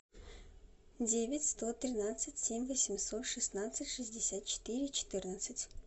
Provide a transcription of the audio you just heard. девять сто тринадцать семь восемьсот шестнадцать шестьдесят четыре четырнадцать